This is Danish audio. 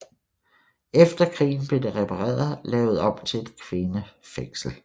Efter krigen blev det repareret og lavet om til et kvindefængsel